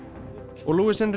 og